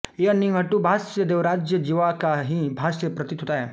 यह निघंटुभाष्य देवराजयज्वा का ही भाष्य प्रतीत होता है